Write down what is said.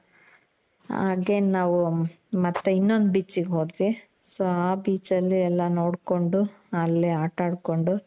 ಹಾಗೆ ನಾವು ಮತ್ತೆ ಇನ್ನೊಂದು beach ಗೆ ಹೋದ್ವಿ, so ಆ beach ಅಲ್ಲಿ ಎಲ್ಲಾ ನೋಡ್ಕೊಂಡು ಅಲ್ಲಿ ಆಟ ಆಡ್ಕೊಂಡು.